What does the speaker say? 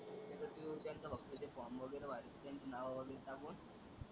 तिथं कस त्यांचं फक्त ते फॉर्म वैगरे भारतात घरातल्यांची नाव वैगरे टाकून,